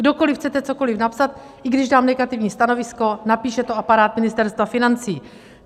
Kdokoliv chcete cokoliv napsat, i když dám negativní stanovisko, napíše to aparát Ministerstva financí.